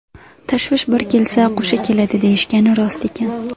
Tashvish bir kelsa qo‘sha keladi, deyishgani rost ekan.